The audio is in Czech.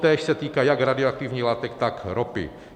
Totéž se týká jak radioaktivních látek, tak ropy.